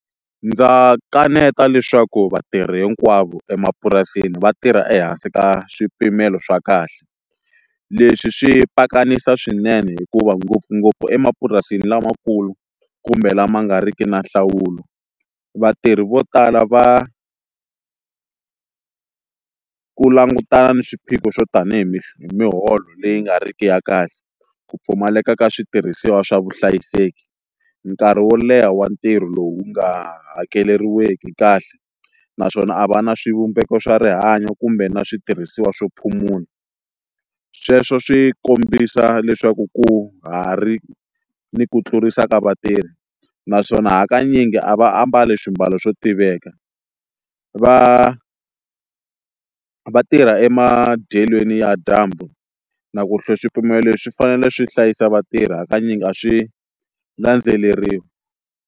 Ndza kaneta leswaku vatirhi hinkwavo emapurasini va tirha ehansi ka swipimelo swa kahle leswi swi pakanisa swinene hikuva ngopfungopfu emapurasini lamakulu kumbe lama nga ri ki na nhlawulo vatirhi vo tala va ku langutana na swiphiqo swo tanihi mi miholo leyi nga ri ki ya kahle ku pfumaleka ka switirhisiwa swa vuhlayiseki nkarhi wo leha wa ntirho lowu wu nga hakeleriweki kahle naswona a va na swivumbeko swa rihanyo kumbe na switirhisiwa swo phumunda sweswo swi kombisa leswaku ku ha ri ni ku tlurisa ka vatirhi naswona hakanyingi a va ambali swiambalo swo tiveka va va tirha emadyelweni ya dyambu na ku hlaya swipimelo swi fanele swi hlayisa vatirhi hakanyingi a swi landzeleriwi.